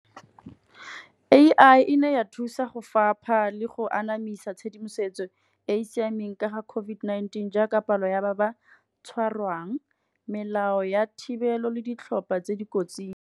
A_I e ne ya thusa go fapa le go anamisa tshedimosetso e e siameng ka ga COVID-19 jaaka palo ya ba ba tshwarwang, melao ya thibelo le ditlhopha tse di kotsing.